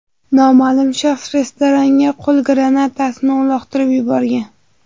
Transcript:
Noma’lum shaxs restoranga qo‘l granatasini uloqtirib yuborgan.